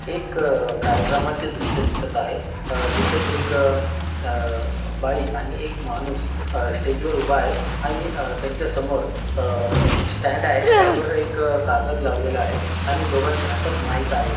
एक अ कार्यक्रमाचे दृश्य दिसत आहे अ जिथे एक अ अ बाई आणि एक माणूस अ स्टेजवर उभा आहे आणि अ त्याच्या समोर अ स्टँड आहे स्टँडवर एक अ कागद लावलेलं आहे आणि दोघांच्या हातात माइक आहे.